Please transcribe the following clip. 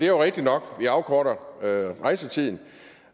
jo rigtigt nok vi afkorter rejsetiden